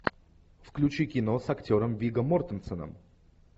включи кино с актером вигго мортенсеном